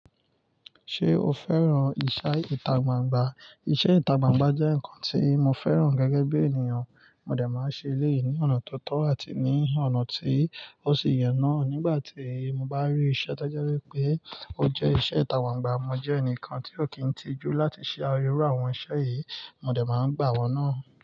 Ṣé o fẹ́ràn ìṣe ìta gbangba? Iṣẹ́ ìta gbangba jẹ́ nǹkan tí mo fẹ́ràn gẹ́gẹ́ bí ènìyàn. Mó dé máa ń ṣe eléyìí ní ọ̀nà tó tọ́ àti ní ọ̀nà tí ó sì yẹ nà. Nígbà tí mo bá rí iṣẹ́ to jẹ wípé ó jẹ́ iṣẹ́ ìta gbangba, mo jẹ́ ẹnìkan tí ó kì í tijú láti ṣe ayẹwo àwọn iṣẹ́ yìí. Mó dé máa ń gbà wọ́n náà.